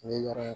N ye yɔrɔ in